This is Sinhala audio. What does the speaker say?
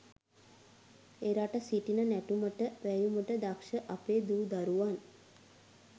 එරට සිටින නැටුමට වැයුමට දක්‍ෂ අපේ දු දරුවන්